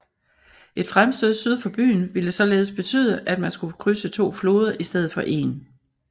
Et fremstød syd for byen ville således betyde at man skulle krydse to floder i stedet for en